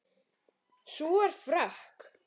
Sú er frökk!